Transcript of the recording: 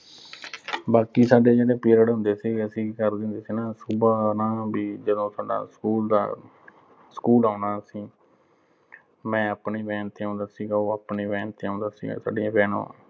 ਬਾਕੀ ਸਾਡੇ ਜਿਹੜੇ period ਹੁੰਦੇ ਸੀ, ਅਸੀਂ ਕੀ ਕਰਦੇ ਹੁੰਦੇ ਸੀ ਨਾ ਅਹ ਸੁਬਾਹ ਨਾ ਅਹ ਨਾ ਵੀ ਜਦੋਂ ਸਾਡਾ school ਦਾ school ਆਉਣਾ ਅਸੀਂ ਮੈਂ ਆਪਣੀ van ਤੇ ਆਉਂਦਾ ਸੀਗਾ, ਉਹ ਆਪਣੀ van ਤੇ ਆਉਂਦਾ ਸੀਗਾ